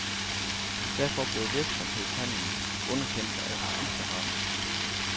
Derfor blev virksomhedshandelen underkendt af skifteretten.